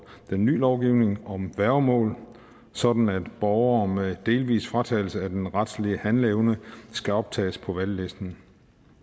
den ny lovgivning om værgemål sådan at borgere med en delvis fratagelse af den retlige handleevne skal optages på valglisten